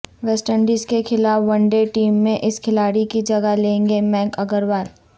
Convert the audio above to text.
waste Indies کے خلاف one day team میں اس کھلاڑی کی جگہ لیں گے مینک اگروال